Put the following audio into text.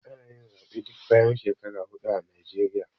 Ana yin Zaɓe duk bayan shekaru hudu a ƙasar Naijeriya